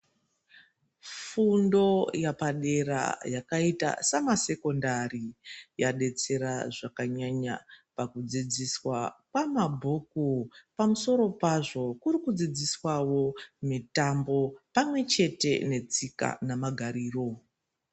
Fundo yepadera yakaita semasekondari yaidetsera zvakanyanya pakudzidziswa pamabhuku pamusoro pazvo kurikudzidziswawo mitambo pamwe chete netsika namagariro.